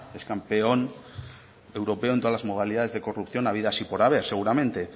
es campeón europeo en todas las modalidades de corrupción habidas y por haber seguramente